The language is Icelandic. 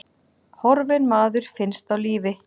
Horfinn maður finnst á lífi